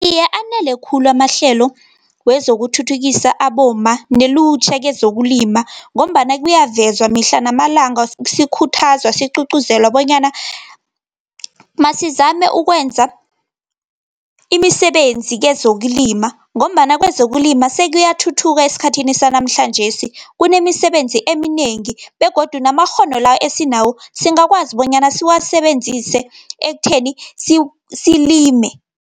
Iye anele khulu amahlelo, wezokuthuthukisa abomma, nelutjha kezokulima, ngombana kuyavezwa mihla namalanga sikhuthazwa, sigcugcuzelwa, bonyana masizame ukwenza imisebenzi kezokulima, ngombana kwezokulima sekuyathuthuka esikhathini sanamhlanjesi. Kunemisebenzi eminengi, begodu namakghono la, esinawo singakwazi bonyana siwasebenzise ekutheni silime.